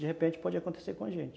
De repente, pode acontecer com a gente.